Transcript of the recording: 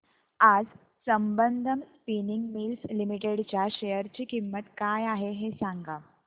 आज Sambandam spinning mills limited च्या share ची किंमत काय आहे हे सांगा